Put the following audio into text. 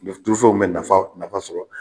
Donsow bɛ nafa nafa sɔrɔ